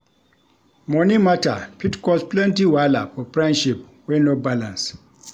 Moni mata fit cause plenty wahala for friendship wey no balance.